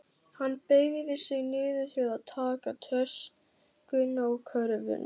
Hann beygði sig niður til að taka töskuna og körfuna.